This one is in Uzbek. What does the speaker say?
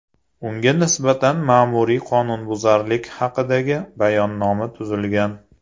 Unga nisbatan ma’muriy qonunbuzarlik haqidagi bayonnoma tuzilgan.